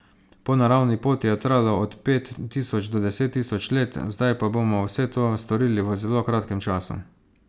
Po naravni poti je trajalo od pet tisoč do deset tisoč let, zdaj pa bomo vse to storili v zelo kratkem času.